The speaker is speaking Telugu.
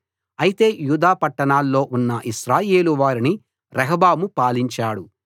అయితే యూదా పట్టణాల్లో ఉన్న ఇశ్రాయేలు వారిని రెహబాము పాలించాడు